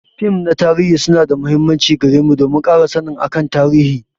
Fim na tarihi su na da muhimmanci gare mu don mu kara sannin akan tarihi.